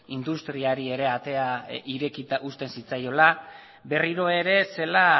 industriari ere atea irekita uzten zitzaiola berriro ere zela